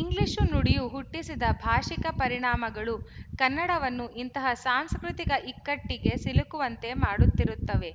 English ನುಡಿಯು ಹುಟ್ಟಿಸಿದ ಭಾಶಿಕ ಪರಿಣಾಮಗಳು ಕನ್ನಡವನ್ನು ಇಂತಹ ಸಾಂಸ್ಕೃತಿಕ ಇಕ್ಕಟ್ಟಿಗೆ ಸಿಲುಕುವಂತೆ ಮಾಡುತ್ತಿರುತ್ತವೆ